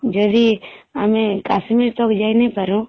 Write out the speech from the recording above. ଯଦି ଆମେ କାଶ୍ମୀର ତକ ଯାଇଁ ନାଇଁ ପାରୁ